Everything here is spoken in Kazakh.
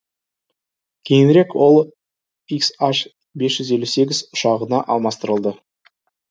кейінрек ол хн бес жүз елу сегіз ұшағына алмастырылды